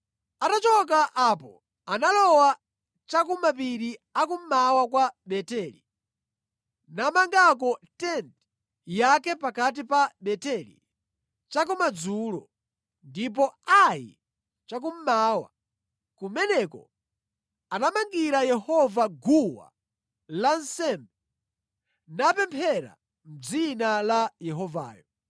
Atachoka pamenepo analowera cha ku mapiri a kummawa kwa Beteli namangako tenti yake pakati pa Beteli chakumadzulo ndi Ai chakummawa. Kumeneko anamangira Yehova guwa lansembe napemphera mʼdzina la Yehovayo.